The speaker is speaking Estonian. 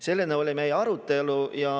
Selline oli meie arutelu.